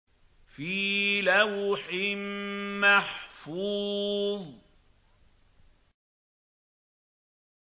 فِي لَوْحٍ مَّحْفُوظٍ